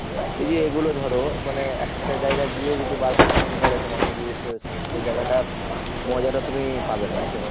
এই যে এগুলো ধর মানে একটা জায়গায় গিয়ে যদি বারবার phone করে তোমাকে যে এসো এসো সেই জায়গাটার মজাটা তুমি পাবে না বুঝলে।